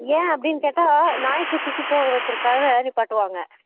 ஏன் அப்படி கேட்டா நாய் கு சு சு போக வைக்குறதுக்காக நிப்பாட்டு வாங்க